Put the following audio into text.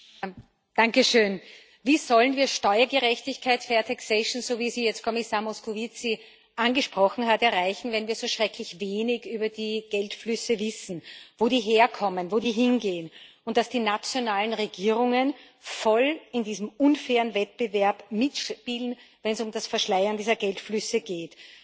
Herr Präsident! Wie sollen wir Steuergerechtigkeit, so wie sie jetzt Kommissar Moscovici angesprochen hat, erreichen, wenn wir so schrecklich wenig über die Geldflüsse wissen wo die herkommen, wo die hingehen und dass die nationalen Regierungen voll in diesem unfairen Wettbewerb mitspielen, wenn es um das Verschleiern dieser Geldflüsse geht?